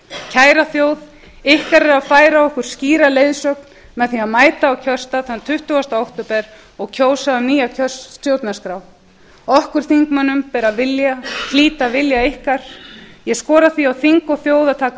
kæra þjóð ykkar er að færa okkur skýra leiðsögn með því að mæta á kjörstað þann tuttugasta október og kjósa um nýja stjórnarskrá okkar þingmönnum ber að hlíta vilja ykkar ég skora því á þing og þjóð að taka